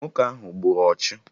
Nwoke ahụ gburu ọchụ